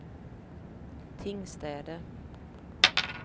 Tingstäde